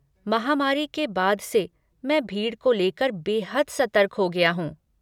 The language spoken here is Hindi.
महामारी के बाद से मैं भीड़ को लेकर बेहद सतर्क हो गया हूँ।